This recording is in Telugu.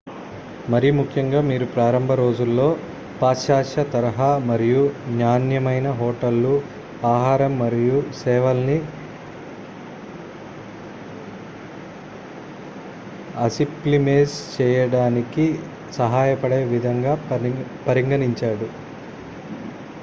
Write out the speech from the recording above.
మరిముఖ్యంగా మీ ప్రారంభ రోజుల్లో పాశ్చాత్య తరహా మరియు నాణ్యమైన హోటళ్లు ఆహారం మరియు సేవల్ని అసిప్లిమేజ్ చేయడానికి సహాయపడే విధంగా పరిగణించండి